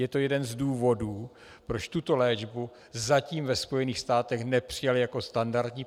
Je to jeden z důvodů, proč tuto léčbu zatím ve Spojených státech nepřijali jako standardní.